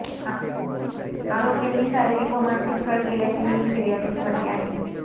आरोपींनी शारीरिक व मानसिक छळ केल्याचेही फिर्यादीत म्हटले आहे